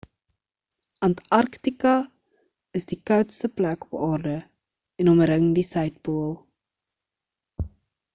antarktika is die koudste plek op aarde en omring die suidpool